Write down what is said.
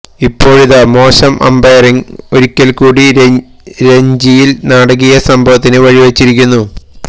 ഇപ്പോളിതാ മോശം അമ്പയറിംഗ് ഒരിക്കൽക്കൂടി രഞ്ജിയിൽ നാടകീയ സംഭവത്തിന് വഴി വെച്ചിരിക്കുന്നു